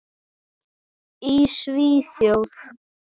Í Svíþjóð